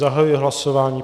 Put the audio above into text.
Zahajuji hlasování.